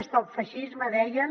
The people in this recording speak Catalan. stop feixisme deien